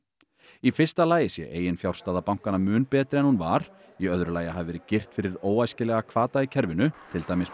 í fyrsta lagi sé eiginfjárstaða bankanna mun betri en hún var í öðru lagi hafi verið girt fyrir óæskilega hvata í kerfinu til dæmis með